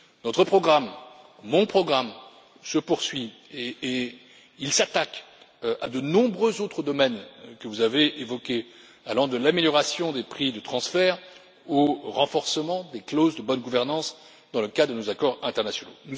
Notre programme, mon programme, se poursuit et il s'attaque à de nombreux autres domaines que vous avez évoqués, qui vont de l'amélioration des prix de transfert au renforcement des clauses de bonne gouvernance dans le cas de nos accords internationaux.